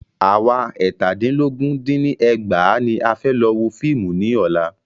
À wa eètàdínlógún dín ní ẹgbàá ní a fẹ́ lọ wo fíìmù ní ọ̀la.